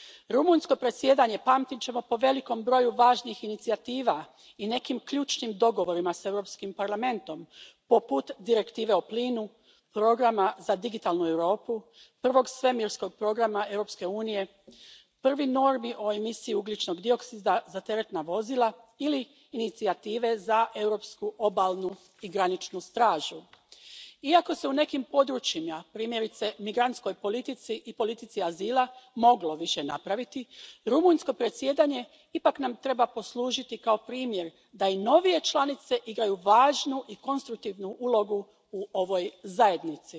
Rumunjsko predsjedanje pamtit ćemo po velikom broju važnih inicijativa i nekim ključnim dogovorima s Europskim parlamentom, poput Direktive o plinu, Programa za digitalnu Europu, prvog svemirskog programa Europske unije, prvih normi o emisiji ugljičnog dioksida za teretna vozila ili inicijative za Europsku obalnu i graničnu stražu. Iako se u nekim područjima, primjerice migrantskoj politici i politici azila, moglo više napraviti, rumunjsko predsjedanje ipak nam treba poslužiti kao primjer da i novije članice igraju važnu i konstruktivnu ulogu u ovoj zajednici.